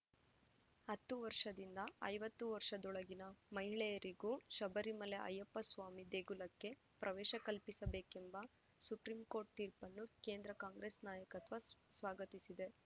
ಹತ್ತು ವರ್ಷದಿಂದ ಐವತ್ತು ವರ್ಷದೊಳಗಿನ ಮಹಿಳೆಯರಿಗೂ ಶಬರಿಮಲೆ ಅಯ್ಯಪ್ಪ ಸ್ವಾಮಿ ದೇಗುಲಕ್ಕೆ ಪ್ರವೇಶ ಕಲ್ಪಿಸಬೇಕೆಂಬ ಸುಪ್ರೀಂ ಕೋರ್ಟ್‌ ತೀರ್ಪನ್ನು ಕೇಂದ್ರ ಕಾಂಗ್ರೆಸ್‌ ನಾಯಕತ್ವ ಸ್ವ ಸ್ವಾಗತಿಸಿದೆ